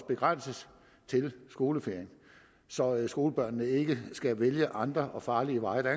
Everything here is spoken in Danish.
begrænses til skoleferien så skolebørnene ikke skal vælge andre og farlige veje der